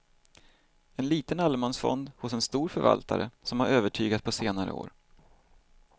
En liten allemansfond hos en stor förvaltare som har övertygat på senare år.